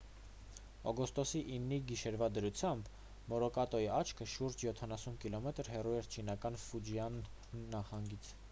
օգոստոսի 9-ի գիշերվա դրությամբ մորակոտի աչքը շուրջ յոթանասուն կիլոմետր հեռու էր չինական ֆուջիան նահանգից